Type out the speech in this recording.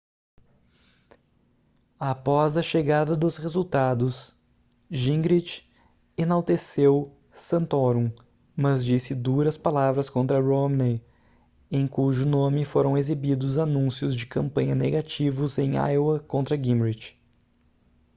após a chegada dos resultados gingrich enalteceu santorum mas disse duras palavras contra romney em cujo nome foram exibidos anúncios de campanha negativos em iowa contra gingrich